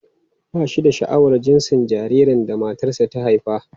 Ba shi da sha'awar jinsin jaririn da matarsa ​​ta haifa.